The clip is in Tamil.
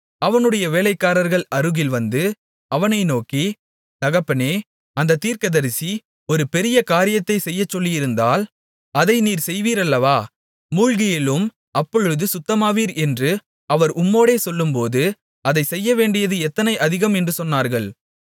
அவனுடைய வேலைக்காரர்கள் அருகில் வந்து அவனை நோக்கி தகப்பனே அந்தத் தீர்க்கதரிசி ஒரு பெரிய காரியத்தைச் செய்யச் சொல்லியிருந்தால் அதை நீர் செய்வீர் அல்லவா மூழ்கி எழும் அப்பொழுது சுத்தமாவீர் என்று அவர் உம்மோடே சொல்லும்போது அதைச் செய்யவேண்டியது எத்தனை அதிகம் என்று சொன்னார்கள்